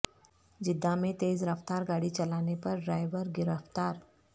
Jeddah میں تیز رفتار گاڑی چلانے پر ڈرائیور گرفتار